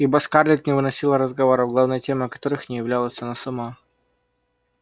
ибо скарлетт не выносила разговоров главной темой которых не являлась она сама